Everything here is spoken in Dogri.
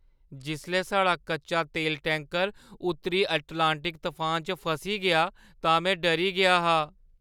जिसलै साढ़ा कच्चा तेल टैंकर उत्तरी अटलांटिक तफान च फसी गेआ तां में डरी गेआ हा।